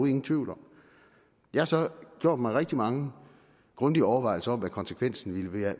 ingen tvivl om jeg har så gjort mig rigtig mange grundige overvejelser om hvad konsekvensen ville være af